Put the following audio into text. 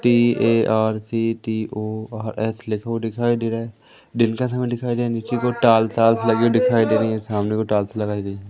TARCTORS लिखा हुआ दिखाई दे रहा है दिन का समय दिखाई दे रहा नीचे की ओर टाइल्स वाइल्ज लगी हुई दिखाई दे रही हैं सामने को टाइल्स लगाई गई हैं।